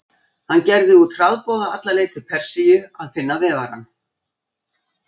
Hann gerði út hraðboða alla leið til Persíu að finna vefarann.